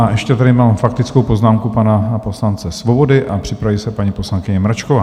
A ještě tady mám faktickou poznámku pana poslance Svobody a připraví se paní poslankyně Mračková.